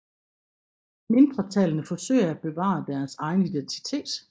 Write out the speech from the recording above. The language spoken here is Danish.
Mindretallene forsøgte at bevare deres egen identitet